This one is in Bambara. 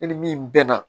E ni min bɛ na